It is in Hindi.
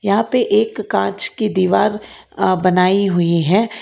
यहां पे एक कांच की दीवार अ बनाई हुई है।